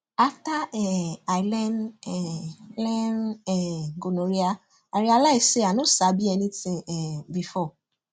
after um i learn um learn um gonorrhea i realize say i no sabi anything um before